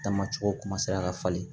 Taama cogo ka falen